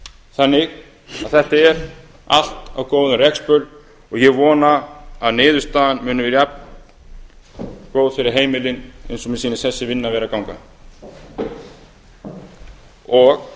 þannig að þetta er allt á góðum rekspöl og ég vona að niðurstaðan muni verða jafn góð fyrir heimilin eins og mér sýnist þessi vinna vera að ganga og